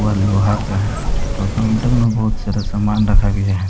वह लोहा का है और काउंटर में बहुत सारा सामान रखा गया है।